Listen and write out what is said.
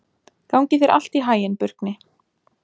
Gangi þér allt í haginn, Burkni.